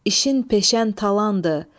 İşin peşən talandır.